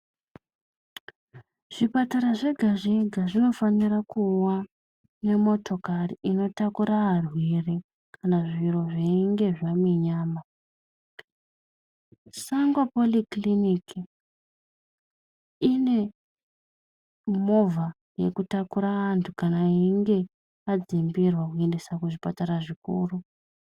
Zvipatara zvega zvega zvinofanira kuwa nemotokari inotakura arwere kana zviro zveinge zvaminyama. Sango pori kiriniki ine movha yekutakura antu kana einge adzimbirwa kuendese kuzvipatara zvikuru.